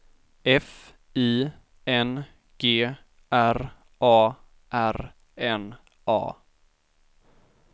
F I N G R A R N A